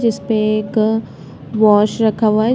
जिस पे एक वाश रखा हुआ है।